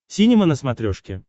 синема на смотрешке